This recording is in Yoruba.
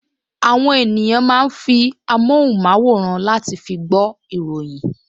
Àwọn ènìyàn máa ń fi amóhùnmáwòrán láti fi